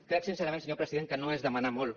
crec sincerament senyor president que no és demanar molt